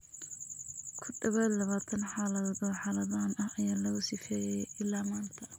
Ku dhawaad ​​labatan xaaladood oo xaaladan ah ayaa lagu sifeeyay ilaa maanta.